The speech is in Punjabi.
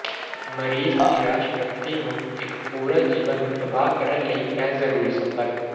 ਮਰੀਜ਼ ਨਿਰਾਸ਼ ਵਿਅਕਤੀ ਨੂੰ ਇੱਕ ਪੂਰਾ ਜੀਵਨ ਨੂੰ ਤਬਾਹ ਕਰ ਲਈ ਇਹ ਜ਼ਰੂਰੀ ਸੰਪਰਕ